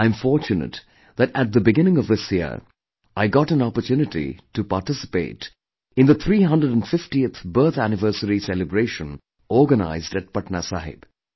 I'm fortunate that at the beginning of this year, I got an opportunity to participate in the 350th birth anniversary celebration organized at Patna Sahib